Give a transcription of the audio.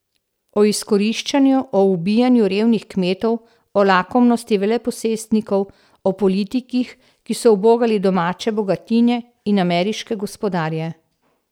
O izkoriščanju, o ubijanju revnih kmetov, o lakomnosti veleposestnikov, o politikih, ki so ubogali domače bogatine in ameriške gospodarje.